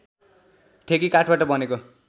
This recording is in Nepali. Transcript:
ठेकी काठबाट बनेको